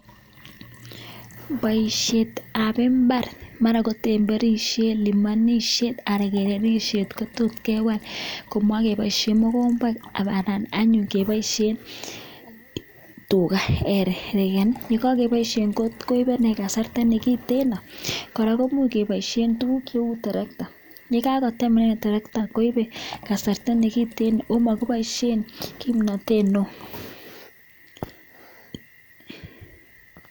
Poisheet ap imbar mara ko semberisheet ,kalimanusheeet komuuch kepaisheen tractaaaaaa amun maibee betusheek chechang kepaisheen tractor